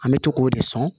An bɛ to k'o de sɔn